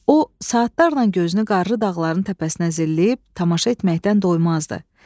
O saatlarla gözünü qarlı dağların təpəsinə zilləyib, tamaşa etməkdən doymazdı.